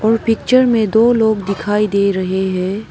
और पिक्चर में दो लोग दिखाई दे रहे हैं।